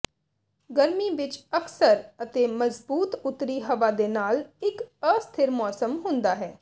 ਗਰਮੀ ਵਿੱਚ ਅਕਸਰ ਅਤੇ ਮਜ਼ਬੂਤ ਉੱਤਰੀ ਹਵਾ ਦੇ ਨਾਲ ਇੱਕ ਅਸਥਿਰ ਮੌਸਮ ਹੁੰਦਾ ਹੈ